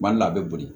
Mali la a bɛ boli